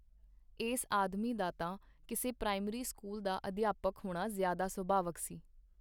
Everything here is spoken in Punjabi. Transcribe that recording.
ਏਸ ਆਦਮੀ ਦਾ ਤਾਂ ਕਿਸੇ ਪ੍ਰਾਇਮਰੀ ਸਕੂਲ ਦਾ ਅਧਿਆਪਕ ਹੋਣਾ ਜ਼ਿਆਦਾ ਸੁਭਾਵਕ ਸੀ.